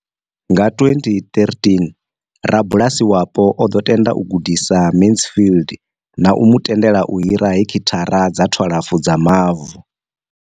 Nga 2013, rabulasi wapo o ḓo tenda u gudisa Mansfield na u mu tendela u hira heki thara dza 12 dza mavu.